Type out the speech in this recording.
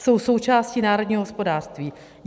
Jsou součástí národního hospodářství.